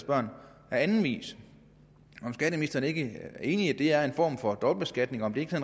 børn på anden vis er skatteministeren ikke enig i at det er en form for dobbelt beskatning og om det ikke